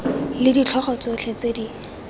le ditlhogo tsotlhe tse di